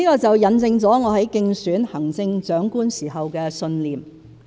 這印證了我在競選行政長官時的信念。